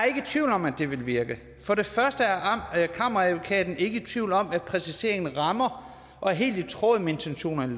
ikke i tvivl om at det vil virke for det første er kammeradvokaten ikke i tvivl om at præciseringen rammer og er helt i tråd med intentionerne